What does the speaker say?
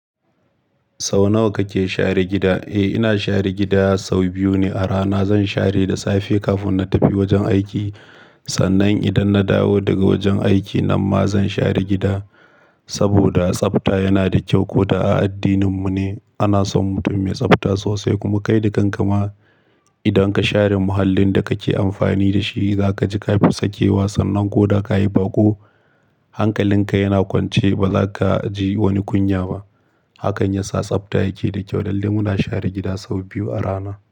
Sau nawa kake share gida? Eh, ina share gida sau biyu ne a rana. Zan share da safe kafin na tafi wajen aiki. Sannan idan na dawo daga wajen aiki nan ma zan share gida. Saboda tsafta yana da kyau. Ko da a addininmu ne ana son mutum mai tsafta sosai. Kuma kai da kan ka ma idan ka share muhallin da kake amfani da shi, za ka ji ka fi sakewa. Sannan ko da ka yi baƙo, hankalinka yana kwance ba za ka ji wani kunya ba. Hakan ya sa tsafta yake da kyau. Dan dai muna share gida sau biyu a rana.